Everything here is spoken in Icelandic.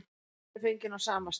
Myndin er fengin á sama stað.